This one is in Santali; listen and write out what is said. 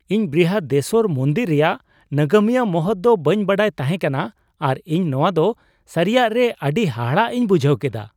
ᱤᱧ ᱵᱨᱤᱦᱟᱫᱮᱥᱥᱚᱨ ᱢᱚᱱᱫᱤᱨ ᱨᱮᱭᱟᱜ ᱱᱟᱜᱟᱢᱤᱭᱟᱹ ᱢᱚᱦᱚᱛ ᱫᱚ ᱵᱟᱹᱧ ᱵᱟᱰᱟᱭ ᱛᱟᱸᱦᱮ ᱠᱟᱱᱟ ᱟᱨ ᱤᱧ ᱱᱚᱶᱟ ᱫᱚ ᱥᱟᱹᱨᱤᱭᱟᱜ ᱨᱮ ᱟᱹᱰᱤ ᱦᱟᱦᱟᱲᱟᱜ ᱤᱧ ᱵᱩᱡᱷᱟᱹᱣ ᱠᱮᱫᱟ ᱾